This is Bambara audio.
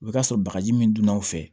I bɛ t'a sɔrɔ bagaji min donna aw fɛ